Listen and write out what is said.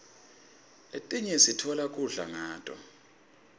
letinye sitfola kudla kuto